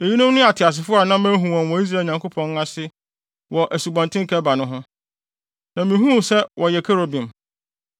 Eyinom ne ateasefo a na mahu wɔn wɔ Israel Nyankopɔn ase wɔ Asubɔnten Kebar ho no, na mihuu sɛ wɔyɛ kerubim.